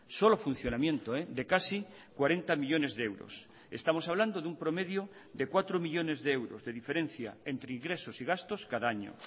solo funcionamiento de casi cuarenta millónes de euros estamos hablando de un promedio de cuatro millónes de euros de diferencia entre ingresos y gastos cada año